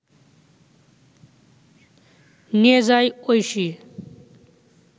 নিয়ে যায় ঐশী